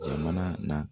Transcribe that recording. Jamana na